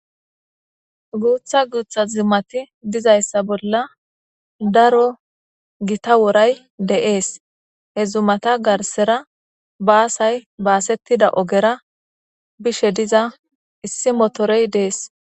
Guutha guutha zumati dizayssa bolla daro gita woray deees he zumata garsera baasay baasettida ogera bishe diza issi motorey dees